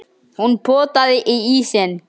Hún potaði í ísinn.